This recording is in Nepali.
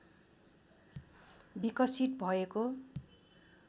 विकसित भएको